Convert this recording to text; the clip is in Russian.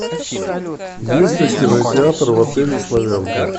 есть ли кинотеатр в отеле славянка